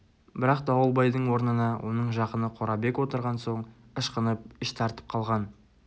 бірақ дауылбайдың орнына оның жақыны қорабек отырған соң ышқынып іш тартып қалған